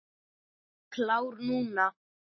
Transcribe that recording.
Klár núna.